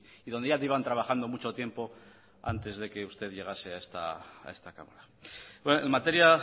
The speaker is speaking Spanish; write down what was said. y donde ya llevan trabajando mucho tiempo antes de que usted llegase a esta cámara en materia